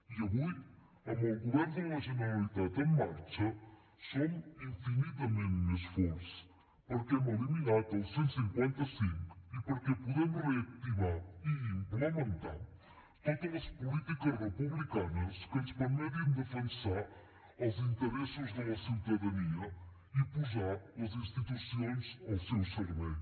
i avui amb el govern de la generalitat en marxa som infinitament més forts perquè hem eliminat el cent i cinquanta cinc i perquè podem reactivar i implementar totes les polítiques republicanes que ens permetin defensar els interessos de la ciutadania i posar les institucions al seu servei